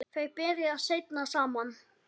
Þau byrja seinna saman.